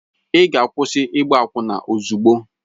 Ị ga-akwụsị ịgba akwụna ozugbo!